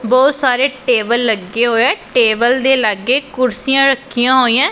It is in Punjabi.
ਬਹੁਤ ਸਾਰੇ ਟੇਬਲ ਲੱਗੇ ਹੋਏ ਆ ਟੇਬਲ ਦੇ ਲਾਗੇ ਕੁਰਸੀਆਂ ਰੱਖੀਆਂ ਹੋਈਐਂ।